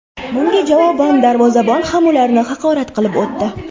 Bunga javoban darvozabon ham ularni haqorat qilib o‘tdi.